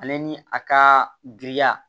Ale ni a ka giriya